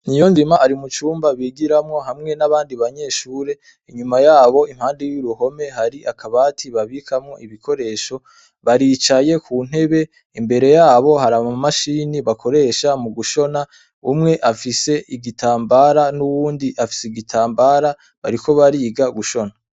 Niyonzima ari mucumba bigiramwo hamwe nabandi banyeshure inyuma yabo impande y'uruhome hari akabati babikamwo ibikoresho baricaye kuntebe imbere yabo hari amamashini bakoresha mugushona umwe afise igitambara nuwundi afise igitambara bariko bariga gushona.